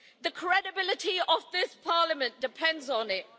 The credibility of this Parliament depends on it.